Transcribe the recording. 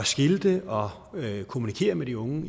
skilte og kommunikere med de unge